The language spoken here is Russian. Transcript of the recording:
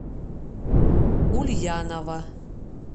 ульянова